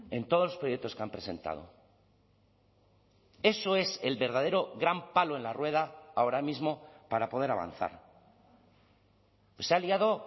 en todos los proyectos que han presentado eso es el verdadero gran palo en la rueda ahora mismo para poder avanzar se ha liado